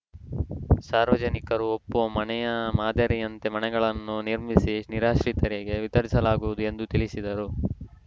ಸಾರ್ವಜನಿಕರು ಒಪ್ಪುವ ಮನೆಯ ಮಾದರಿಯಂತೆ ಮನೆಗಳನ್ನು ನಿರ್ಮಿಸಿ ನಿರಾಶ್ರಿತರಿಗೆ ವಿತರಿಸಲಾಗುವುದು ಎಂದು ತಿಳಿಸಿದರು